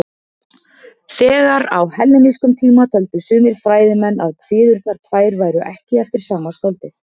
Þegar á hellenískum tíma töldu sumir fræðimenn að kviðurnar tvær væru ekki eftir sama skáldið.